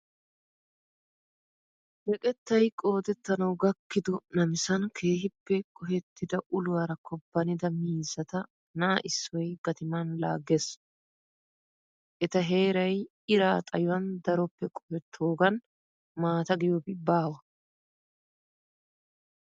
Meqettay qoodettanawu gakkido namisan keehippe qohettida uluwara kobbannida miizzata na"a issoy gatiman laagges. Eta heeray iraa xayuwan daroppe qohettoogan maata giyoobi baawa.